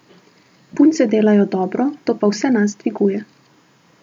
Punce delajo dobro, to pa vse nas dviguje.